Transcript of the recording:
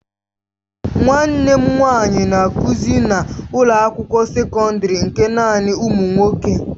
Nwanne m nwanyị na-akụzi na ụlọ akwụkwọ sekọndrị nke naanị ụmụ nwoke.